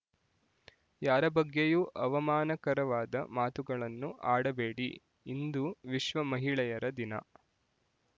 ಯಾರ ಬಗ್ಗೆಯೂ ಅವಮಾನಕರವಾದ ಮಾತುಗಳನ್ನು ಆಡಬೇಡಿ ಇಂದು ವಿಶ್ವ ಮಹಿಳೆಯರ ದಿನ